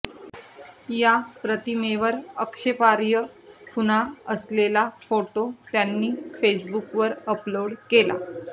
या प्रतिमेवर आक्षेपार्ह खुणा असलेला फोटो त्यांनी फेसबुकवर अपलोड केला